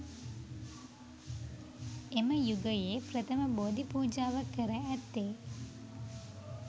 එම යුගයේ ප්‍රථම බෝධිපූජාව කර ඇත්තේ